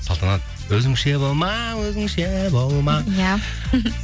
салтанат өзіңше болма өзіңше болма иә